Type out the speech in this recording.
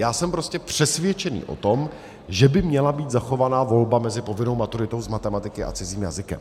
Já jsem prostě přesvědčený o tom, že by měla být zachovaná volba mezi povinnou maturitou z matematiky a cizím jazykem.